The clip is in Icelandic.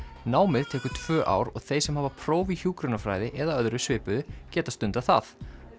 námið tekur tvö ár og þeir sem hafa próf í hjúkrunarfræði eða öðru svipuðu geta stundað það